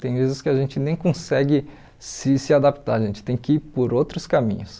Tem vezes que a gente nem consegue se se adaptar, a gente tem que ir por outros caminhos.